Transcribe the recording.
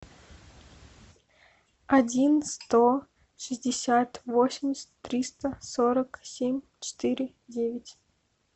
один сто шестьдесят восемьдесят триста сорок семь четыре девять